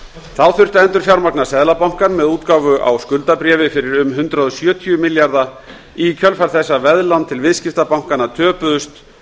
þá þurfti að endurfjármagna seðlabankann með útgáfu á skuldabréfi fyrir um hundrað og sjötíu milljarða í kjölfar þess að veðlán til viðskiptabankanna töpuðust